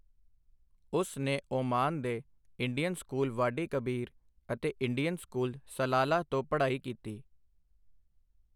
ਉਸ ਨੇ ਓਮਾਨ ਦੇ ਇੰਡੀਅਨ ਸਕੂਲ ਵਾਡੀ ਕਬੀਰ ਅਤੇ ਇੰਡੀਅਨ ਸਕੂਲ, ਸਲਾਲਾਹ ਤੋਂ ਪੜ੍ਹਾਈ ਕੀਤੀ।